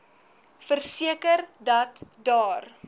verseker dat daar